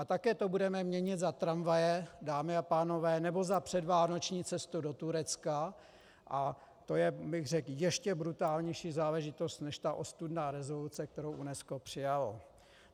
A také to budeme měnit za tramvaje, dámy a pánové, nebo za předvánoční cestu do Turecka, a to je, řekl bych, ještě brutálnější záležitost než ta ostudná rezoluce, kterou UNESCO přijalo.